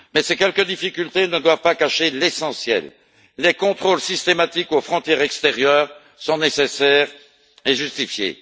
Mais ces quelques difficultés ne doivent pas cacher l'essentiel les contrôles systématiques aux frontières extérieures sont nécessaires et justifiés.